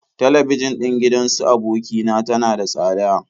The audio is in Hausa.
Talabijin ɗin gidan su aboki na tana da tsada.